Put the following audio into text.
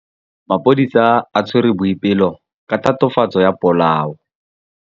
Maphodisa a tshwere Boipelo ka tatofatsô ya polaô.